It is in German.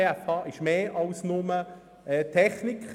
Die BFH umfasst mehr als nur den Bereich Technik.